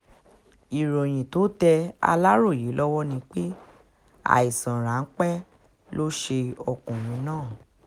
ìròyìn tó tẹ aláròye lọ́wọ́ ni pé àìsàn ráńpẹ́ ló ṣe ọkùnrin náà